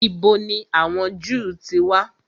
Ìbo ni àwọn Jew ti wà?